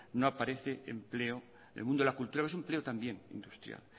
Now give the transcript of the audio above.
no aparece empleo el mundo de la cultura o es empleo también industrial